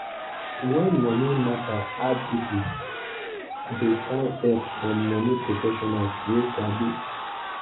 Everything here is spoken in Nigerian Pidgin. when money matter hard people dey find help from money professionals wey sabi.